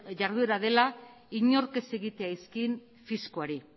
jarduera dela inork ez egitea izkin fiskoari